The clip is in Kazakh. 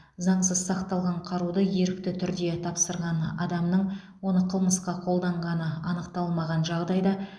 заңсыз сақталған қаруды ерікті түрде тапсырған адамның оны қылмысқа қолданғаны анықталмаған жағдайда